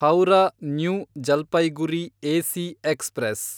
Howrah New Jalpaiguri AC express